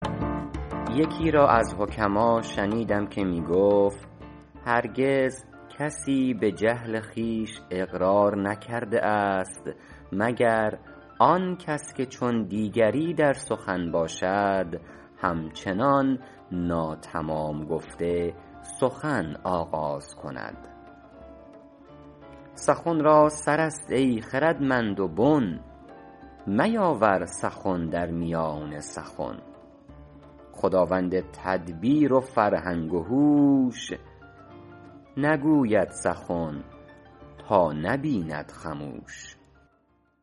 یکی را از حکما شنیدم که می گفت هرگز کسی به جهل خویش اقرار نکرده است مگر آن کس که چون دیگری در سخن باشد هم چنان ناتمام گفته سخن آغاز کند سخن را سر است ای خردمند و بن میاور سخن در میان سخن خداوند تدبیر و فرهنگ و هوش نگوید سخن تا نبیند خموش